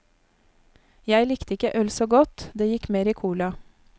Jeg likte ikke øl så godt, det gikk mer i cola.